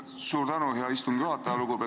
Suur tänu, hea istungi juhataja!